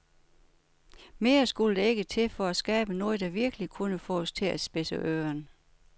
Mere skulle der ikke til for at skabe noget, der virkelig kunne få os til at spidse øren.